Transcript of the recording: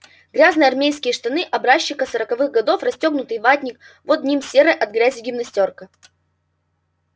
грязные армейские штаны образчика сороковых годов расстёгнутый ватник под ним серая от грязи гимнастёрка